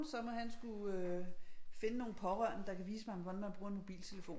Så må han sgu øh finde nogle pårørende der kan vise ham hvordan man bruger en mobiltelefon ikke